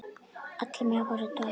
Allir mega fá sér tvær.